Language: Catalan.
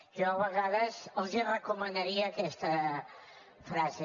jo a vegades els recomanaria aquesta frase